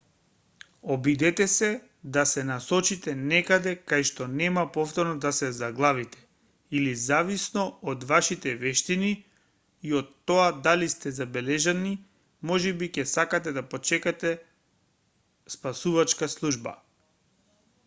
обидете се да се насочите некаде кајшто нема повторно да се заглавите или зависно од вашите вештини и од тоа дали сте забележани можеби ќе сакате да почекате спасувачка служба